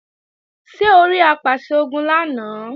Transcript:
Ṣé orí Apàṣẹ-Ogun lánàá?